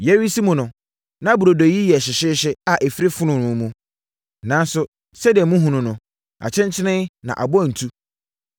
Yɛresi mu no, na burodo yi yɛ hyeehyeehye a ɛfiri fononoo mu. Nanso sɛdeɛ mohunu no, akyenkyene na abɔ ntu.